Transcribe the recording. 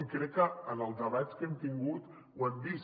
i crec que en els debats que hem tingut ho hem vist